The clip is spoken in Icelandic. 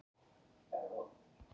Hvar á landinu er Stríðsminjasafnið?